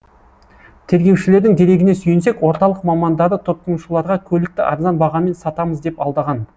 тергеушілердің дерегіне сүйенсек орталық мамандары тұтынушыларға көлікті арзан бағамен сатамыз деп алдаған